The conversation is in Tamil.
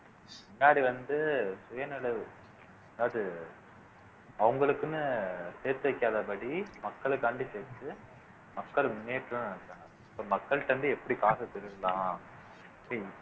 முன்னாடி வந்து சுயநினைவு அதாவது அவங்களுக்குன்னு சேர்த்து வைக்காதபடி மக்களுக்காண்டி சேர்த்து மக்கள் முன்னேற்றம் இப்ப மக்கள்ட்ட இருந்து எப்படி காச திருடலாம்